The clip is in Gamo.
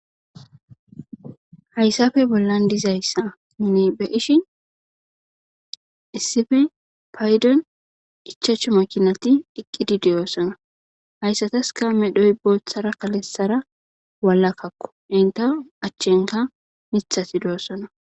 hayssafe bollan dizayssa ne be ishin issife paydon ichachu makinati dhiqqidi deyoossana hayssatas ka medhoy boothara kalessara walakkakko inte achchenka mithati de7ossana